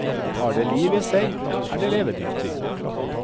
Har det liv i seg, er det levedyktig.